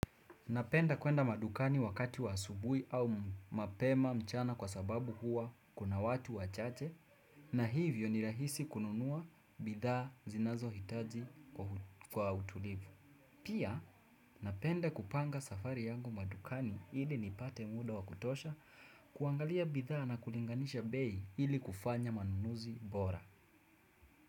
Napenda kuenda madukani wakati wa asubui au mapema mchana kwa sababu huwa kuna watu wachache na hivyo ni rahisi kununua bidhaa zinazo hitaji kwa utulivu. Pia napenda kupanga safari yangu madukani hili nipate muda wakutosha kuangalia bidhaa na kulinganisha bei ili kufanya manunuzi bora.